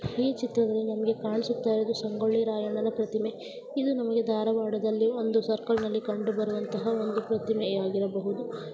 ಈ ಚಿತ್ರದಲ್ಲಿ ನಮಗೆ ಕಾಣಿಸುತ್ತಿರುವುದು ಸಂಗೊಳ್ಳಿ ರಾಯಣ್ಣನ ಪ್ರತಿಮೆ ಇದು ನಮಗೆ ಧಾರವಾಡದಲ್ಲಿ ಒಂದು ಸರ್ಕಲ್ ನಲ್ಲಿ ಕಂಡುಬರುವಂತಹ ಒಂದು ಪ್ರತಿಮೆ ಆಗಿರಬಹುದು.